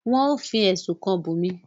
nwọn o fí ẹsùn kán Bunmi.